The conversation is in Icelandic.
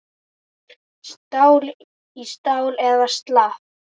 Stál í stál eða slappt?